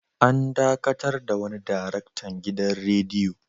An dakatar da wani daraktan gidan radiyo.